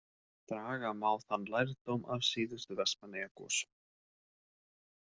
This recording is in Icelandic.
Draga má þann lærdóm af síðustu Vestmannaeyjagosum.